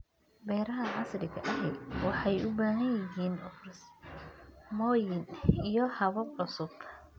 Beeraha casriga ahi waxay u baahan yihiin farsamooyin iyo habab cusub.